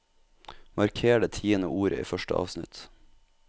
Marker det tiende ordet i første avsnitt